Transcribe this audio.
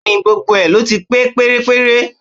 Bẹ́ẹ̀ni, gbogbo ẹ̀ ló ti pé pérépéré